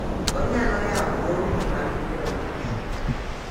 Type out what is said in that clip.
Onyalo yawo dhoudi mag yudo loch